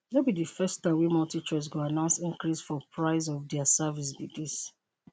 no be di first time wey multi choice go announce increase for price of dia service be dis